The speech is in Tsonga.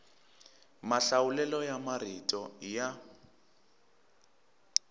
mahlawulelo ya marito i ya